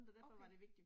Okay